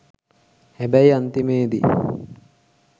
හැබැයි අන්තිමේදි